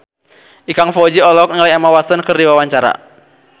Ikang Fawzi olohok ningali Emma Stone keur diwawancara